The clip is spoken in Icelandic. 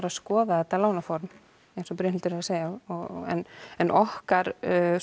að skoða þetta lánaform eins og Brynhildur er að segja en en okkar